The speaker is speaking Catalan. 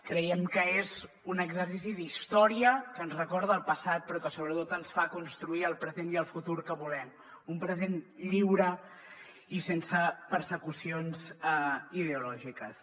creiem que és un exercici d’història que ens recorda el passat però que sobretot ens fa construir el present i el futur que volem un present lliure i sense persecucions ideològiques